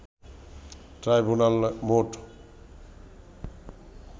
ট্রাইব্যুনালে মোট